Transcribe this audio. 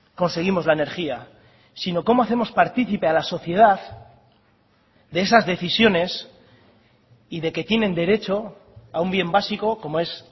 conseguimos la energía sino cómo hacemos partícipe a la sociedad de esas decisiones y de que tienen derecho a un bien básico como es